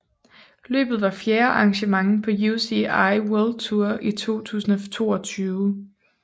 Løbet var fjerde arrangement på UCI World Tour 2022